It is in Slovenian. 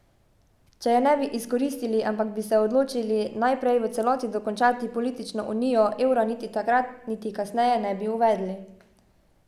Če je ne bi izkoristili, ampak bi se odločili najprej v celoti dokončati politično unijo, evra niti takrat niti kasneje ne bi uvedli.